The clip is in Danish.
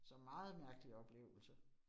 Så meget mærkelig oplevelse